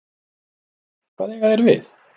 Hvað eiga þeir við?